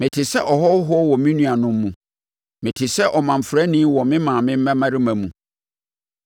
Mete sɛ ɔhɔhoɔ wɔ me nuanom mu, mete sɛ ɔmamfrani wɔ me maame mmammarima mu,